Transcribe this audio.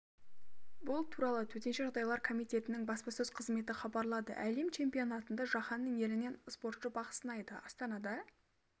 бұл туралы төтенше жағдайлар комитетінің баспасөз қызметі хабарлады әлем чемпионатында жаһанның елінен спортшы бақ сынайды астанада